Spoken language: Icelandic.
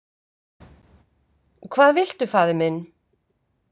Hvað viltu faðir minn?